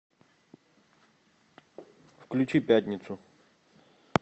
включи пятницу